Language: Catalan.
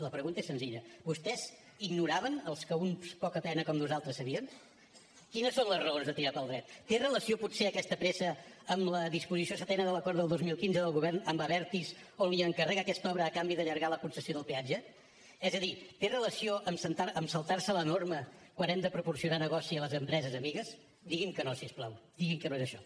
la pregunta és senzilla vostès ignoraven els que uns pocapenes com nosaltres sabíem quines són les raons de tirar pel dret té relació potser aquesta pressa amb la disposició setena de l’acord del dos mil quinze del govern amb abertis on li encarrega aquesta obra a canvi d’allargar la concessió del peatge és a dir té relació amb saltar se la norma quan hem de proporcionar negoci a les empreses amigues digui’m que no si us plau digui’m que no és això